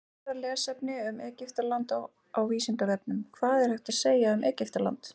Frekara lesefni um Egyptaland á Vísindavefnum: Hvað er hægt að segja um Egyptaland?